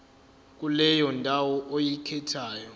kuleyo ndawo oyikhethayo